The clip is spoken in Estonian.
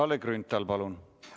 Kalle Grünthal, palun!